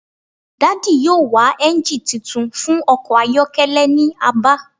Daddy yoo wa engine titun fun ọkọ ayọkẹlẹ ni Aba